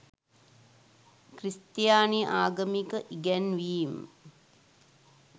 ක්‍රිස්තියානි ආගමික ඉගැන්වීම්